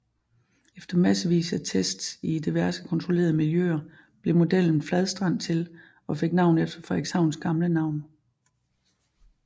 Efter massevis af tests i diverse kontrollerede miljøer blev modellen Fladstrand til og fik navn efter Frederikshavns gamle navn